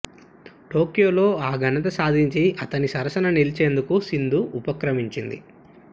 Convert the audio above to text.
టోక్యోలో ఆ ఘనత సాధించి అతని సరసన నిలిచేందుకు సింధు ఉపక్రమించింది